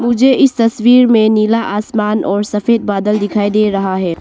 मुझे इस तस्वीर में नीला आसमान और सफेद बादल दिखाई दे रहा है।